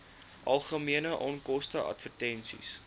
algemene onkoste advertensies